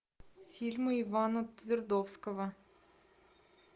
фильмы ивана твердовского